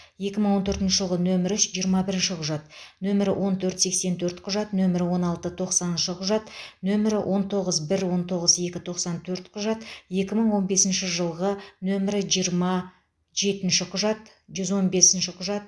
екі мың он төртінші жылғы нөмірі үш жиырма бірінші құжат нөмірі он төрт сексен төрт құжат нөмірі он алты тоқсаныншы құжат нөмірі он тоғыз бір он тоғыз екі тоқсан төрт құжат екі мың он бесінші жылғы нөмірі жиырма жеті жүз он бесінші құжат